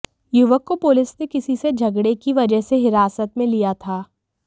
युवक को पुलिस ने किसी से झगड़े की वजह से हिरासत में लिया था